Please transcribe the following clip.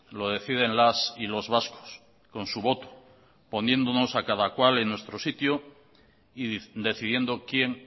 lo deciden las y los vascos con su voto poniéndonos a cada cual en nuestro sitio y decidiendo quién